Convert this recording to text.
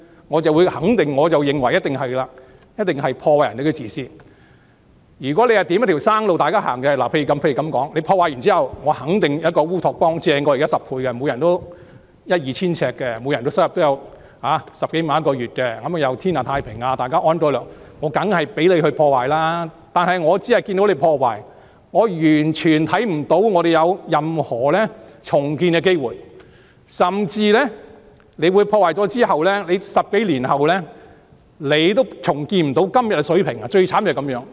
如果你這樣做是為大家指向一條生路，例如在破壞後，你肯定有一個比現時優勝10倍的烏托邦，每人可以有一間一二千平方呎的房子，月入10多萬元，社會天下太平，大家安居樂業，我當然讓你破壞，但現在我只看到你破壞，完全看不到社會有任何重建的機會，甚至在造成破壞後的10多年也無法重建今天的水平，最慘便是這樣。